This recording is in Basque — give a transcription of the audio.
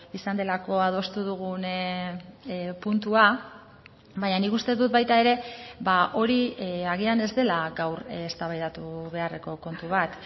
izan delako adostu dugun puntua baina nik uste dut baita ere hori agian ez dela gaur eztabaidatu beharreko kontu bat